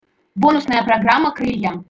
бонусная программа крылья